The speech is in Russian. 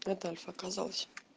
адольф окозался